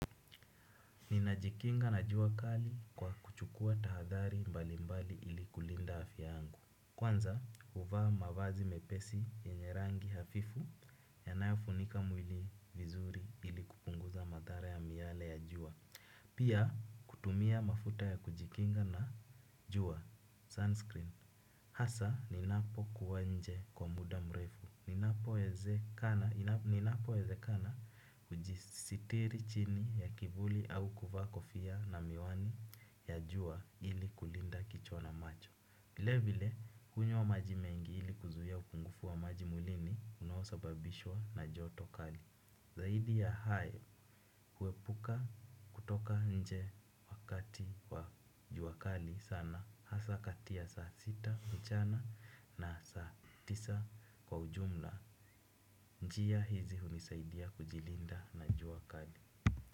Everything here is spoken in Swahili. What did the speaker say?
Ninajikinga na jua kali kwa kuchukua tahadhari mbali mbali ili kulinda afya yangu. Kwanza huvaa mavazi mepesi yenye rangi hafifu yanayofunika mwili vizuri ili kupunguza madhara ya miale ya jua. Pia kutumia mafuta ya kujikinga na jua sunscreen. Hasa ninapokuwa nje kwa muda mrefu. Ninapowezekana hujisitiri chini ya kivuli au kuvaa kofia na miwani ya jua ili kulinda kichwa na macho. Vile vile hunywa maji mengi ili kuzuia upungufu wa maji mwilini unaosababishwa na joto kali. Zaidi ya hayo huepuka kutoka nje wakati wa jua kali sana. Hasa kati ya saa sita mchana na saa tisa kwa ujumla njia hizi hunisaidia kujilinda na jua kali.